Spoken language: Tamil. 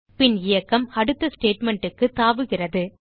பின் இயக்கம் அடுத்த statementக்கு தாவுகிறது